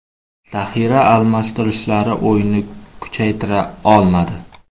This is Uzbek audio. Zaxira almashtirishlari o‘yinni kuchaytira olmadi.